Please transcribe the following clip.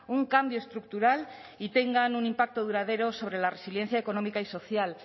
un cambio estructural y tengan un impacto duradero sobre la resiliencia económica y social